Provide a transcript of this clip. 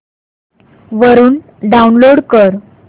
वरून डाऊनलोड कर